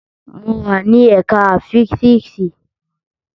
Mo wa ni ẹka fisiksi